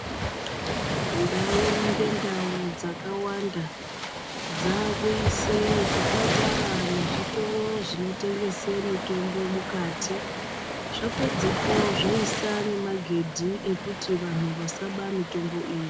Ndau ngendau dzakawanda dzakuise zvipatara nezvitoro zvinotengesa mitombo mukati zvapedzepo zvoisa nemagedhi kuti vantu vasaba mitombo iyi.